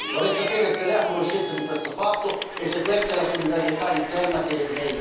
Vorrei sapere se lei è a conoscenza di questo fatto e se questa è la solidarietà interna che lei intende.